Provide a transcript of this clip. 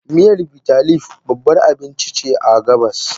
Miyan Bitterleaf babbar abinci ce a gabas.